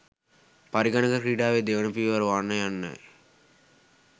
පරිගණක ක්‍රිඩාවෙ දෙවන පියවර වනයන්නයි.